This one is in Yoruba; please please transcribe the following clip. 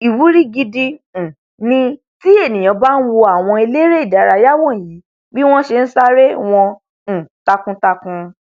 ìwúrí gidi um ni tí ènìà bá nwo àwọn eléré ìdárayá wọnyí bí wọn ti nṣeré wọn um takuntakun